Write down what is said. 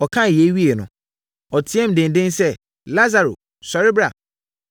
Ɔkaa yei wieeɛ no, ɔteaam denden sɛ, “Lasaro, sɔre bra!”